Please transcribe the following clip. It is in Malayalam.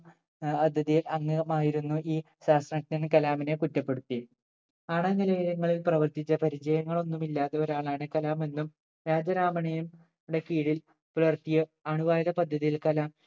അതിഥിയിൽ അംഗമായിരുന്നു ഈ ശാസ്ത്രജ്ഞൻ കലാമിനെ കുറ്റപ്പെടുത്തി ആണവ നിലയങ്ങളിൽ പ്രവർത്തിച്ച പരിചയങ്ങളൊന്നും ഇല്ലാതെ ഒരാൾ ആണ് കലാം എന്നും രാജരാമണെയുംന്റെ കീഴിൽ പുലർത്തിയ അണുആയുധ പദ്ധതിയിൽ കലാം